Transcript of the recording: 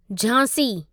Jhansi